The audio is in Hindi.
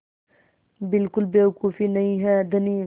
बिल्कुल बेवकूफ़ी नहीं है धनी